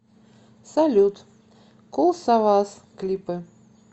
салют кул савас клипы